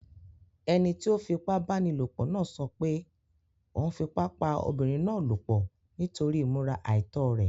Ẹni tí ó fipábánilòpọ̀ náà sọ pé òun fipá pá obiǹrin náà lòpọ̀ nítorí ìmúra àìtọ́ rẹ̀.